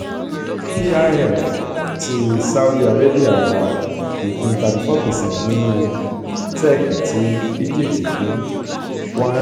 pif ti saudi arabia ra ìpín thirty four percent nínú b. tech ti egypt fún